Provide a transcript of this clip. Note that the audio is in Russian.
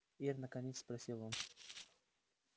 ир наконец спросил он